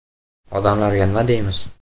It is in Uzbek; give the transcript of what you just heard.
Odamlarga nima deymiz?